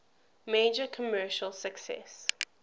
major commercial success